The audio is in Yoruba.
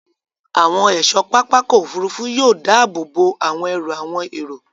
Àwọn ẹ̀ṣọ́ pápákọ̀ òfurufú yóò dáàbòbò àwọn ẹrù àwọn èrò